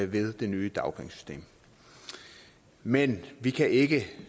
ved det nye dagpengesystem men vi kan ikke